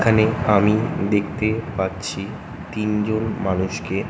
এখানে আমি দেখতে পাচ্ছি তিনজন মানুষকে ।